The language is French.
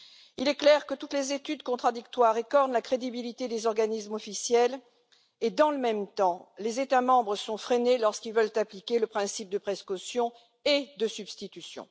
Il est clair que toutes les études contradictoires écornent la crédibilité des organismes officiels et dans le même temps, les États membres sont freinés lorsqu'ils veulent appliquer le principe de précaution et de substitution.